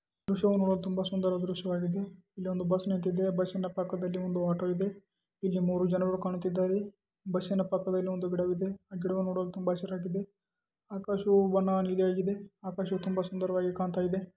ಈ ದೃಶ್ಯವು ನೋಡಲು ತುಂಬಾ ಸುಂದರವಾದ ದೃಶ್ಯವಾಗಿದೆ. ಇಲ್ಲಿ ಒಂದು ಬಸ್ ನಿಂತಿದೆ. ಆ ಬಸ್ ನ ಪಕ್ಕದಲ್ಲಿ ಒಂದು ಇದೆ.ಇಲ್ಲಿ ಮೂರು ಜನರು ಕುಳಿತ್ತಿದ್ದಾರೆ. ಬಸ್ ನ ಪಕ್ಕದಲ್ಲಿ ಒಂದು ಗಿಡವಿದೆ ಆ ಗಿಡವು ನೋಡಲು ತುಂಬಾ ಚನ್ನಾಗಿದೆ. ಆಕಾಶವು ಬಣ್ಣ ನೀಲಿಯಾಗಿದೆ. ಆಕಾಶ ನೋಡಲು ತುಂಬಾ ಸುಂದರವಾಗಿ ಕಾಣ್ತಾಯಿದೆ.